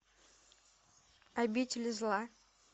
обитель зла